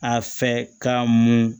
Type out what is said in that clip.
A fɛ ka mun